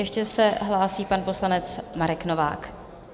Ještě se hlásí pan poslanec Marek Novák.